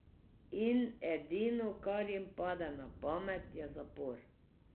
In edino, kar jim pade na pamet, je zapor.